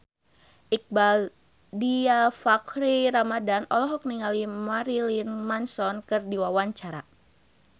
Iqbaal Dhiafakhri Ramadhan olohok ningali Marilyn Manson keur diwawancara